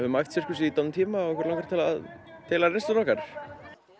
æft sirkus í dálítinn tíma og langaði til að deila reynslunni okkar